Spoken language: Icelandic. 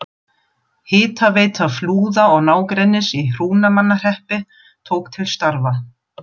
Hitaveita Flúða og nágrennis í Hrunamannahreppi tók til starfa.